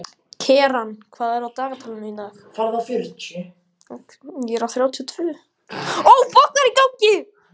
Keran, hvað er á dagatalinu í dag?